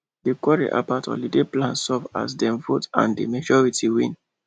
di quarrel about holiday plan solve as dem vote and the majority win